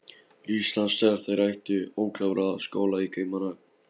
Íslands þegar þær áttu ókláraða skóla í Kaupmannahöfn.